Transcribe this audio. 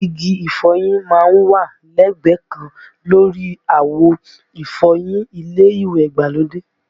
Igi ìfọyín má ń wà lẹ́gbẹ̀ẹ́ kan lórí àwo ìfọyín ilé ìwẹ̀ ìgbàlódé